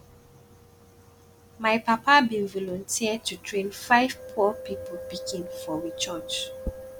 my papa bin volunteer to train five poor pipu pikin for we church